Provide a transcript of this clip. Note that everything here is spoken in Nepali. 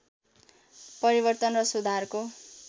परिवर्तन र सुधारको